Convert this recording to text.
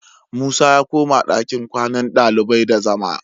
Musa ya koma dakin kwannan ɗalibai da zama